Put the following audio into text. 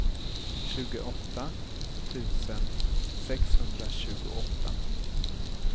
tjugoåtta tusen sexhundratjugoåtta